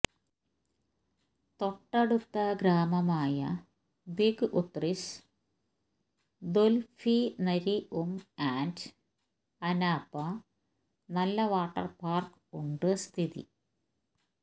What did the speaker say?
തൊട്ടടുത്ത ഗ്രാമമായ big Utrish dolphinarium and Anapa നല്ല വാട്ടർ പാർക്ക് ഉണ്ട് സ്ഥിതി